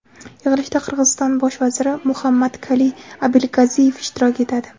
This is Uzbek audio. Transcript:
Yig‘ilishda Qirg‘iziston bosh vaziri Muhammadkaliy Abilgaziyev ishtirok etadi.